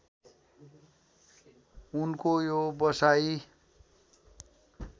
उनको यो बसाइ